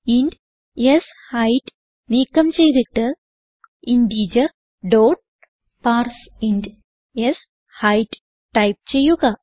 int ഷെയ്ത് നീക്കം ചെയ്തിട്ട് ഇന്റഗർ ഡോട്ട് പാർസിന്റ് ഷെയ്ത് ടൈപ്പ് ചെയ്യുക